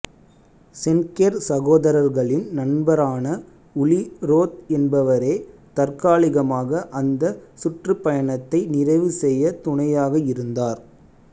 Schenker சகோதரர்களின் நண்பரான Uli Roth என்பவரே தற்காலிகமாக அந்த சுற்றுப்பயணத்தை நிறைவு செய்ய துணையாக இருந்தார்